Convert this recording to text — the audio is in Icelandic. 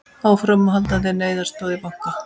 Áframhaldandi neyðaraðstoð við banka